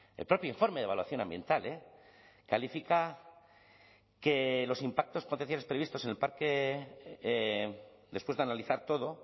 el propio informe de evaluación ambiental califica que los impactos potenciales previstos en el parque después de analizar todo